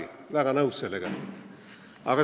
Olen väga nõus sellega.